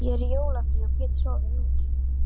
Ég er í jólafríi og get sofið út.